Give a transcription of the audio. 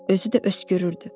Özü də öskürürdü.